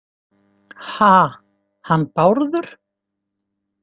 Ha- hann Bárður?